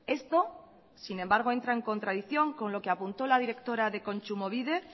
esto sin embargo entra en contradicción con lo que apuntó la directora de kontsumobide